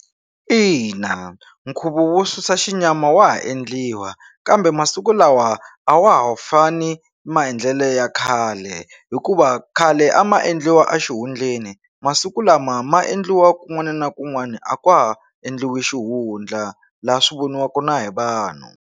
Ina nkhuvo wo susa xinyama wa ha endliwa kambe masiku lawa a wa ha fani maendlelo ya khale hikuva khale a ma endliwa a xihundleni masiku lama ma endliwa kun'wana na kun'wana a ka ha endliwi xihundla laha swi voniwaka na hi vanhu.